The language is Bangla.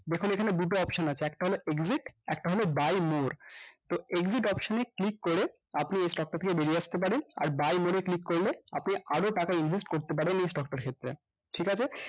দেখুন এখানে দুটো option আছে একটা হলো exit একটা হলো buy more তো exit option এ click করে আপনি এই stock টা থেকে বেরিয়ে আসতে পারেন আর buy more এ click করলে আপনি আরো টাকা invest করতে পারেন এই stock টার সাথে ঠিকাছে